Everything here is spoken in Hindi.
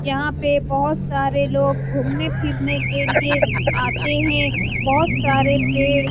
यहाँ पे बहुत सारे लोग घूमने-फिरने के लिए आते हैं बहुत सारे पेड़ --